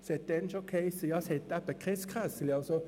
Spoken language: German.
Es hiess schon damals, es sei keine Kasse vorhanden.